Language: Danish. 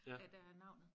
Af deraf navnet